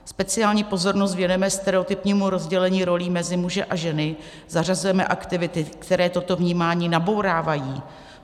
Speciální pozornost věnujeme stereotypnímu rozdělení rolí mezi muže a ženy, zařazujeme aktivity, které toto vnímání nabourávají.